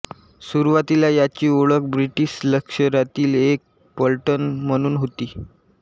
सुरूवातीला याची ओळख ब्रिटिश लष्करातील एक पलटण म्हणून होती